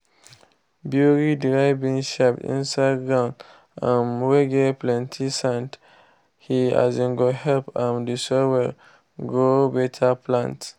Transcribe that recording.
bury dry bean shaft inside ground um whey get plenty sand he um go help um the soil grow better plants